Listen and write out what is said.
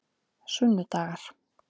sunnudagar